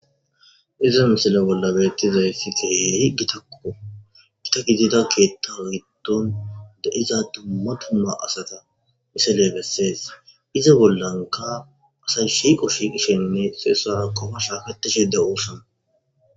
iza misila bolla beettizaysi keehi gitakko gita gidida keetta wgiddon da7iza dumma tumma asata misile bessees iza bollanka asay shiqo shi kishenne seesara qofashaaketishede 'osann